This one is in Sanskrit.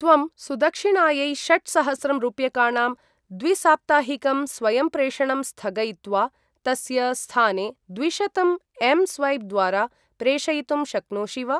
त्वं सुदक्षिणायै षट्सहस्रं रूप्यकाणां द्विसाप्ताहिकम् स्वयंप्रेषणं स्थगयित्वा, तस्य स्थाने द्विशतं एम् स्वैप् द्वारा प्रेषयितुं शक्नोषि वा?